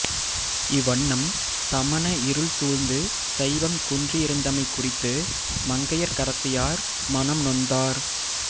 இவ்வண்ணம் சமண இருள் சூழ்ந்து சைவம் குன்றியிருந்தமை குறித்து மங்கையர்க்கரசியார் மனம் நொந்தார்